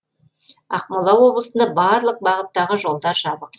ақмола облысында барлық бағыттағы жолдар жабық